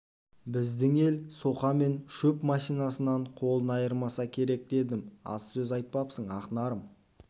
біздің ел соқа мен шөп машинасынан қолын айырмаса керек дедім аз сөз айтпапсың ақнарым